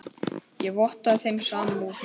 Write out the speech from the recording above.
Ég vottaði þeim samúð mína.